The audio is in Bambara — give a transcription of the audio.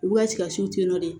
U ka sikasi nɔn dɛ